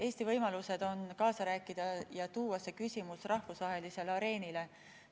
Eesti võimalused on kaasa rääkida ja tuua see küsimus rahvusvahelisele areenile.